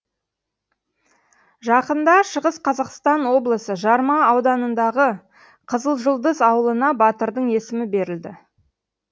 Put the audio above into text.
жақында шығыс қазақстан облысы жарма ауданындағы қызылжұлдыз ауылына батырдың есімі берілді